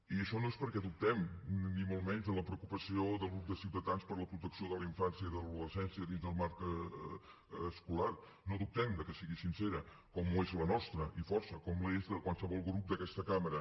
i això no és perquè dubtem ni molt menys de la preocupació del grup de ciutadans per la protecció de la infància i de l’adolescència dins del marc escolar no dubtem de que sigui sincera com ho és la nostra i força com l’és de qualsevol grup d’aquesta cambra